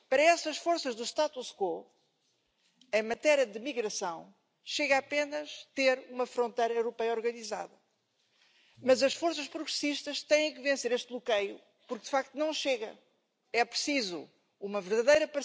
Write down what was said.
à la mise en œuvre de réformes structurelles ouverture à la concurrence du ferroviaire, réforme des retraites maintenant et démantèlement des droits des travailleurs.